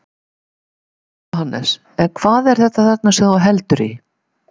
Jóhannes: En hvað er þetta þarna sem þú heldur í?